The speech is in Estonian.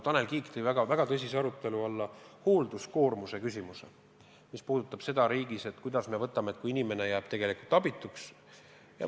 Tanel Kiik tõi väga tõsise arutelu alla hoolduskoormuse küsimuse, mis puudutab seda, kui inimene jääb tegelikult abituks.